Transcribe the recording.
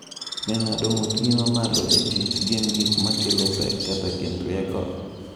Be ng’ado ng’utgi ma malo e tich gin gik ma kelo pek kata gin rieko?